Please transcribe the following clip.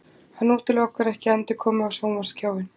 Hann útilokar ekki endurkomu á sjónvarpsskjáinn